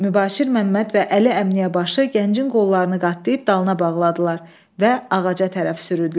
Mübaşir Məmməd və Əli Əmniyyə başı gəncin qollarını qatlayıb dalına bağladılar və ağaca tərəf sürürdülər.